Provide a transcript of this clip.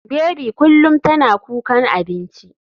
Baby kullum tana kukan abinci.